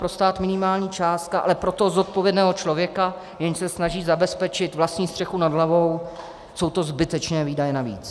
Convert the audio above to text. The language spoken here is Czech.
Pro stát minimální částka, ale pro toho zodpovědného člověka, jenž se snaží zabezpečit vlastní střechu nad hlavou, jsou to zbytečné výdaje navíc.